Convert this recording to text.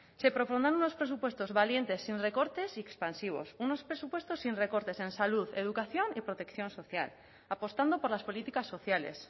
se propondrán unos presupuestos valientes sin recortes y expansivos unos presupuestos sin recortes en salud educación y protección social apostando por las políticas sociales